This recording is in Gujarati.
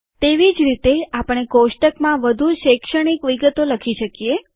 તેવી જ રીતે આપણે કોષ્ટકમાં વધુ શૈક્ષણિક વિગતો લખી શકીએ